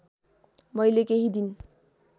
मैले केही दिन